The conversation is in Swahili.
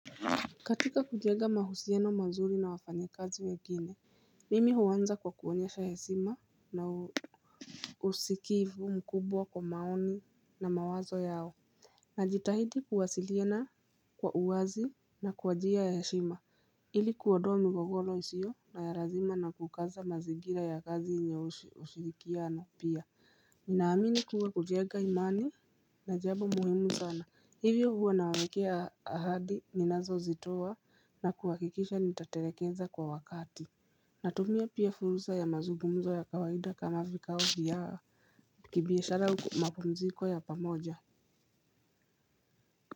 Katika kujega mahusiano mazuri na wafanya kazi wengine Mimi huwanza kwa kuonyesha hesima na usikivu mkubwa kwa maoni na mawazo yao Najitahidi kuwasiliana kwa uwazi na kuwa njia ya heshima ili kuodoa migogiro isio na ya razima na kukaza mazingira ya kazi yenye ushirikio na pia ninaamini kuwa kujega imani na jabo muhimu sana Hivyo huwa nawekea ahadi ninazo zitoa na kuhakikisha nitatelekeza kwa wakati. Natumia pia furusa ya mazugumzo ya kawaida kama vikao vya. Kibiashara mapumziko ya pamoja.